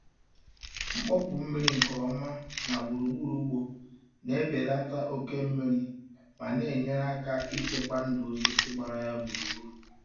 Mkpọpu mmiri nke ọma na gburugburu ugbo na-ebelata oke mmiri ma na-enyere aka ichekwa ndụ osisi gbara ya gburugburu.